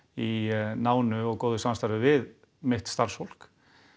í nánu og góðu samstarfi við mitt starfsfólk